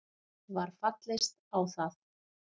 Var fallist á það